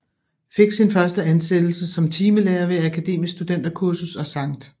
Fik sin første ansættelse som timelærer ved Akademisk Studenterkursus og Skt